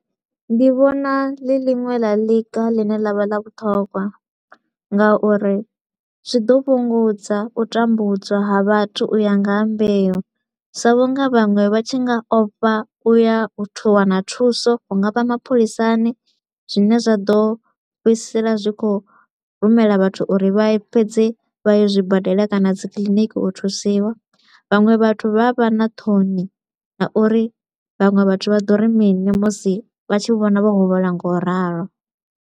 Ndi vhona ḽi ḽiṅwe ḽa ḽiga ḽine ḽa vha ḽa vhuṱhogwa nga uri zwi ḓo fhungudza u tambudzwa ha vhathu u ya nga ha mbeu, sa vhu nga vhaṅwe vha tshi nga ofha u ya u wana thuso hu nga vha mapholisani, zwine zwa ḓo fhedzisela zwi kho u rumela vhathu uri vha fhedze vha ye zwibadela kana dzikiḽiniki u thusiwa. Vhaṅwe vhathu vha a vha na thoni na uri vhaṅwe vhathu vha ḓo ri mini musi vha tshi vhona vho huvhala nga u ralo.